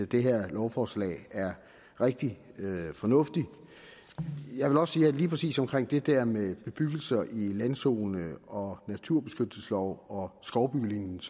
det her lovforslag er rigtig fornuftigt jeg vil også sige at lige præcis omkring det der med bebyggelser i landzone og naturbeskyttelseslov og skovbyggelinje